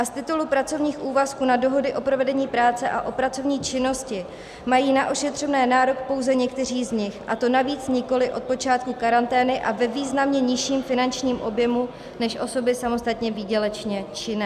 A z titulu pracovních úvazků na dohody o provedení práce a o pracovní činnosti mají na ošetřovné nárok pouze někteří z nich, a to navíc nikoli od počátku karantény a ve významně nižším finančním objemu než osoby samostatně výdělečně činné.